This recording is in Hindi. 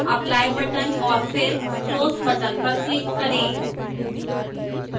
apply button और फिर close button पर click करें